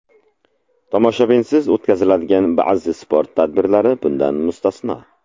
Tomoshabinsiz o‘tkaziladigan ba’zi sport tadbirlari bundan mustasno.